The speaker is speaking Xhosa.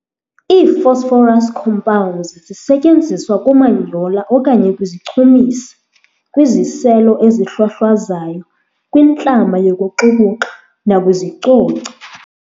Ii-phosphorus compounds zisetyenziswa kumanyola okanye kwizichumisi, kwiziselo ezihlwahlwazayo, kwintlama yokuxukuxa, nakwiizicoci.